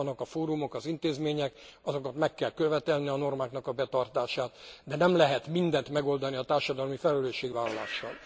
Vannak a fórumok, az intézmények, meg kell követelni a normáknak a betartását, de nem lehet mindent megoldani a társadalmi felelősségvállalással.